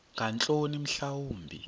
ngeentloni mhla wumbi